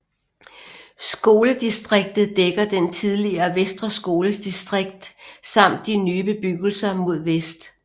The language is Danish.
Skoledistriktet dækker den tidligere Vestre Skoles distrikt samt de nye bebyggelser mod vest